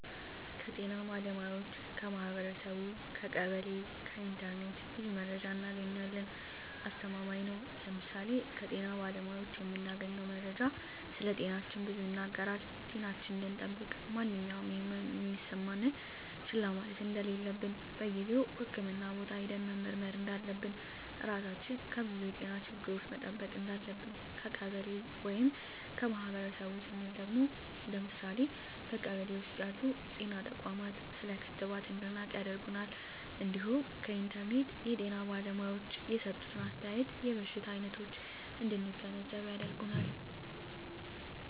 ከጤና ባለሙያዎች ,ከማህበረሰቡ , ከቀበሌ ,ከኢንተርኔት ብዙ መረጃ እናገኛለን። አስተማማኝ ነው ለምሳሌ ከጤና ባለሙያዎች የምናገኘው መረጃ ስለጤናችን ብዙ ይናገራል ጤናችን እንድጠብቅ ማንኛውም የህመም የሚሰማን ህመሞች ችላ ማለት እንደለለብን በጊዜው ህክምህና ቦታ ሄደን መመርመር እንዳለብን, ራሳችን ከብዙ የጤና ችግሮች መጠበቅ እንዳለብን። ከቀበሌ ወይም ከማህበረሰቡ ስንል ደግሞ ለምሳሌ በቀበሌ ውስጥ ያሉ ጤና ተቋማት ስለ ክትባት እንድናውቅ ያደርገናል እንዲሁም ከኢንተርኔት የጤና ባለሙያዎች የሰጡትን አስተያየት የበሽታ አይነቶች እንድንገነዘብ ያደርጋል።